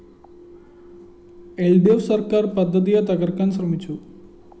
ൽ ഡി ഫ്‌ സര്‍ക്കാര്‍ പദ്ധതിയെ തകര്‍ക്കാന്‍ ശ്രമിച്ചു